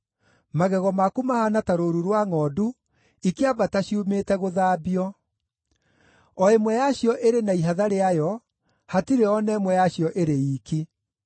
Magego maku mahaana ta rũũru rwa ngʼondu ikĩambata ciumĩte gũthambio. O ĩmwe yacio ĩrĩ na ihatha rĩayo, hatirĩ o na ĩmwe yacio ĩrĩ iiki.